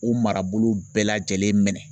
U marabolo bɛɛ lajɛlen minɛ.